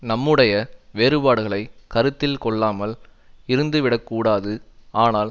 நம்முடைய வேறுபாடுகளை கருத்தில் கொள்ளாமல் இருந்துவிடக்கூடாது ஆனால்